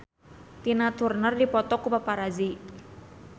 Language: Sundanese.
Tina Turner dipoto ku paparazi